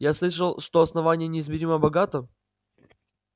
я слышал что основание неизмеримо богато